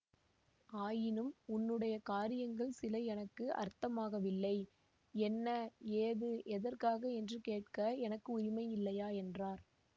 ஆயினும் உன்னுடைய காரியங்கள் சில எனக்கு அர்த்தமாகவில்லை என்ன ஏது எதற்காக என்று கேட்க எனக்கு உரிமை இல்லையா என்றார்